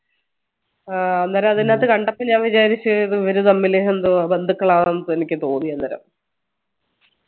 ആഹ് അന്നേരം അതിനകത്ത് കണ്ടപ്പോ ഞാൻ വിചാരിച്ചു ഇവരെ തമ്മിൽ എന്തോ ആന്ന് ബന്ധുക്കൾ ആണെന്ന് തോന്നി അന്നേരം